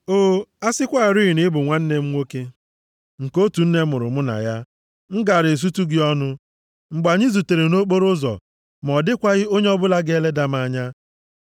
O, a sịkwarị na ị bụ nwanne m nwoke; nke otu nne mụrụ mụ na ya m gaara esutu gị ọnụ mgbe anyị zutere nʼokporoụzọ ma ọ dịkwaghị onye ọbụla ga-eleda m anya.